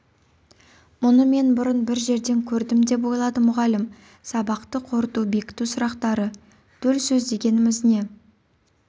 мұны мен бұрын бір жерден көрдімдеп ойлады мұғалім сабақты қорыту бекіту сұрақтары төл сөз дегеніміз не